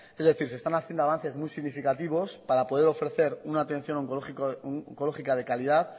es decir se están haciendo avances muy significativos para poder ofrecer una atención oncológica de calidad